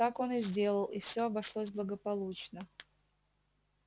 так он и сделал и всё обошлось благополучно